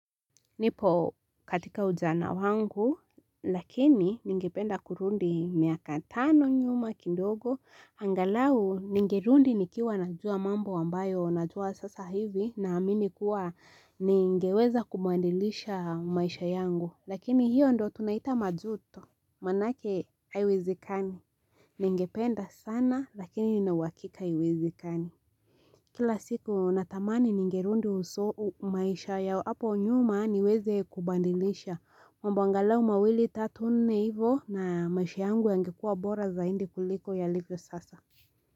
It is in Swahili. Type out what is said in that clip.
Nipo katika ujana wangu lakini ningependa kurudi miaka tano nyuma kidogo angalau ningerudi nikiwa najua mambo ambayo najua sasa hivi naamini kuwa ningeweza kubadilisha maisha yangu lakini hiyo ndiyo tunaita majuto maanake haiwezikani Ningependa sana lakini nina uhakika haiwezikani Kila siku natamani ningerudi maisha ya hapo nyuma niweze kubadilisha. Mambo angalau mawili tatu nne hivo na maisha yangu yangekuwa bora zaidi kuliko yalivyo sasa.